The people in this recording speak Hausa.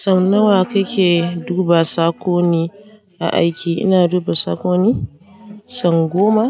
Sannu wa kike duba sako ne na aiki? Ina duba sakoni sau goma